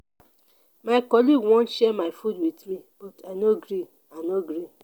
my colleague wan share my food wit me but i no gree. i no gree.